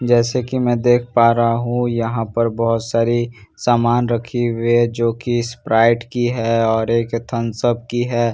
जैसे कि मैं देख पा रहा हूं यहां पर बहुत सारी सामान रखे हुए हैं जो की स्प्राइट की हैं और एक थम्स अप की है यहां पे --